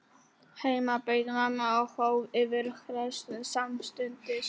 Heima beið mamma og hóf yfirheyrsluna samstundis.